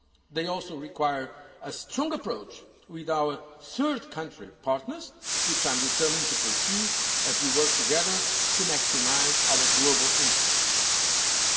They also require a strong approach with our third country partners, which I am determined to pursue as we work together to maximise our global interests.